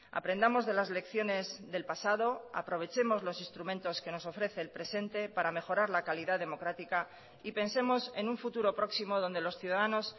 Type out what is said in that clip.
aprendamos de las lecciones del pasado aprovechemos los instrumentos que nos ofrece el presente para mejorar la calidad democrática y pensemos en un futuro próximo donde los ciudadanos